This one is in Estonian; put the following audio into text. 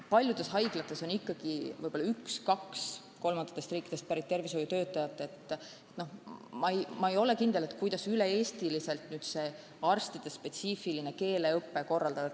Kuna haiglates on ikkagi võib-olla vaid üks või kaks mõnest kolmandast riigist pärit tervishoiutöötajat, siis ma ei kujuta ka ette, kuidas saaks üle-eestiliselt sellist spetsiifilist keeleõpet korraldada.